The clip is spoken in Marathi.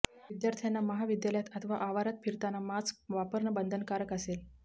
विद्यार्थ्यांना महाविद्यालयात अथवा आवारात फिरताना मास्क वापरणं बंधनकारक असेल